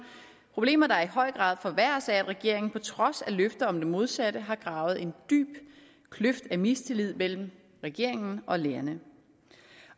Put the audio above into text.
problemer der i høj grad forværres af at regeringen på trods af løfter om det modsatte har gravet en dyb kløft af mistillid mellem regeringen og lærerne